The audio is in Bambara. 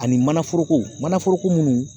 Ani manaforokow manaforoko minnu